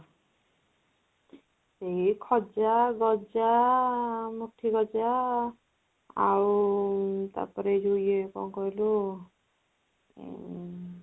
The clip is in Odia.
ଏଇ ଖଜା, ଗଜା, ମୁଠି ଗଜା ଆଉ ତାପରେ ଯୋଉ ଇଏ କଣ କହିଲୁ ଉଁ